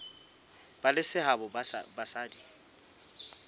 ba le seabo ha basadi